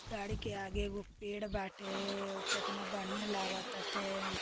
गाड़ी के आगे एगो पेड़ बाटेउ कितना बढ़िया लागताटे।